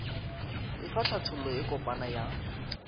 efa hlathollo e kopana ya